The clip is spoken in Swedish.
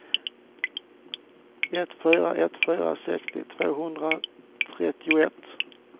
ett fyra ett fyra sextio tvåhundratrettioett